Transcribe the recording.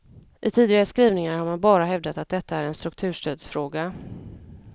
I tidigare skrivningar har man bara hävdat att detta är en strukturstödsfråga.